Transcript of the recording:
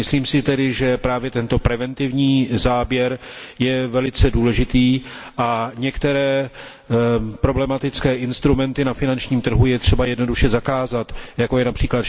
Myslím si tedy, že právě tento preventivní záběr je velice důležitý a některé problematické instrumenty na finančním trhu je třeba jednoduše zakázat, jako je např.